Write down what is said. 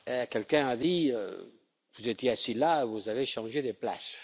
Quelqu'un a dit, vous étiez assis là, vous avez changé de place.